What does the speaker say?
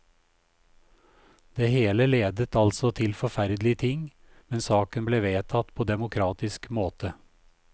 Det hele ledet altså til forferdelige ting, men saken ble vedtatt på demokratisk måte.